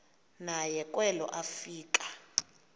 naye kwelo afika